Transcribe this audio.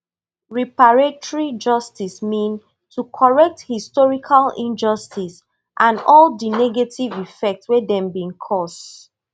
reparatory justice mean to correct historical injustice and all di negative effects wey dem bin cause